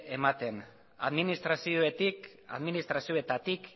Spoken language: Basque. ematen administrazioetatik